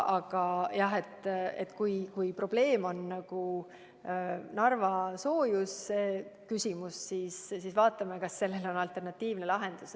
Aga jah, kui probleem on Narva soojusküsimus, siis vaatame, kas sellel on alternatiivne lahendus.